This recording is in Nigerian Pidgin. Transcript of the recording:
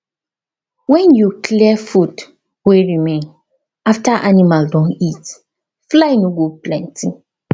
when you clear food wey remain after animal don eat fly no go plenty